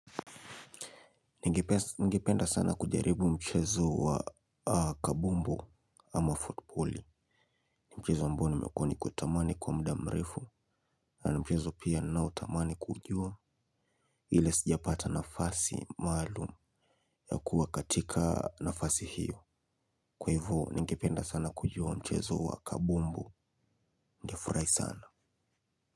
Ningipenda sana kujaribu mchezo wa kabumbu ama footballi. Mchezo ambao nimekuwa nikiutamani kwa muda mrefu. Na mchezo pia ninao tamani kujua. Hile sijapata nafasi maalumu ya kuwa katika nafasi hiyo. Kwa hivyo ningipenda sana kujua mchezo wa kabumbu ningefurai sana.